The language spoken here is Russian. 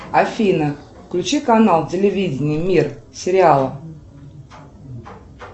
афина включи канал телевидение мир сериалы